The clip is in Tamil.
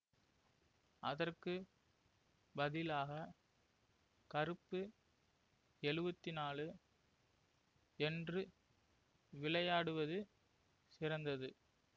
அதற்கு பதிலாக கருப்பு எழுவத்தி நாலு என்று விளையாடுவது சிறந்தது